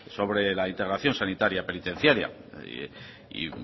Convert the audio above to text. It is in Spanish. sobre la integración sanitaria penitenciaria y